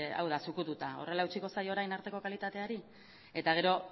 hau da zukututa horrela eutsiko zaio orain arteko kalitateari eta gero